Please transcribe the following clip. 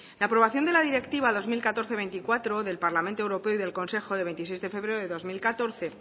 la aprobación de la directiva dos mil catorce barra veinticuatro del parlamento europeo y del consejo del veintiséis de febrero de dos mil catorce